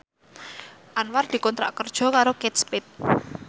Anwar dikontrak kerja karo Kate Spade